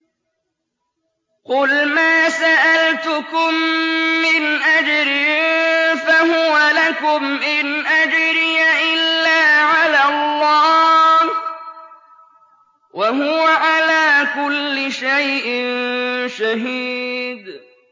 قُلْ مَا سَأَلْتُكُم مِّنْ أَجْرٍ فَهُوَ لَكُمْ ۖ إِنْ أَجْرِيَ إِلَّا عَلَى اللَّهِ ۖ وَهُوَ عَلَىٰ كُلِّ شَيْءٍ شَهِيدٌ